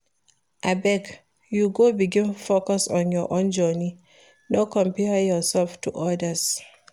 Abeg you go begin focus on your own journey, no compare yourself to odas.